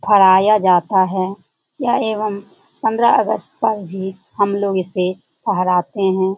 फहराया जाता है । या एवं पंद्रह अगस्त पर भी हम लोग इसे फहराते है ।